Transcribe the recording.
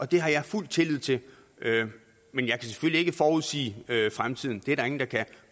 det har jeg fuld tillid til men jeg kan selvfølgelig ikke forudsige fremtiden det er der ingen der kan